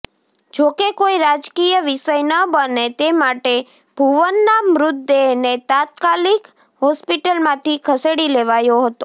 જોકે કોઇ રાજકીય વિષય ન બને તે માટે ભુવનના મૃતદેહને તાત્કાલીક હોસ્પિટલમાંથી ખસેડી લેવાયો હતો